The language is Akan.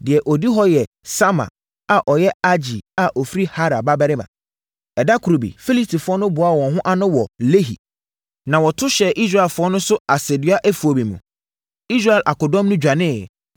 Deɛ ɔdi hɔ yɛ Sama a ɔyɛ Agee a ɔfiri Harar babarima. Ɛda koro bi, Filistifoɔ no boaa wɔn ho ano wɔ Lehi, na wɔto hyɛɛ Israelfoɔ no so asɛdua afuo bi mu. Israel akodɔm no dwaneeɛ,